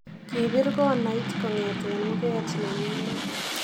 Kipir konait kongeten muget neyinet